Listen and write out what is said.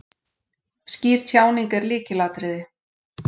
Skýr tjáning er lykilatriði.